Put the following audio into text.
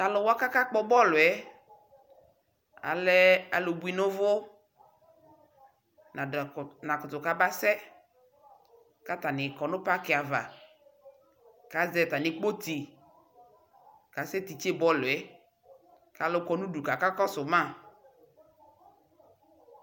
Talu wa kaka kpɔ bɔluɛ, alɛ alu bui nuvu Nadua kpɔ Nakutu ka ba sɛ Katani kɔ nu paky ava ka zɛ tami kpoti ka sɛ titse bɔluɛ Kalu kɔ nudu kakɔ su ma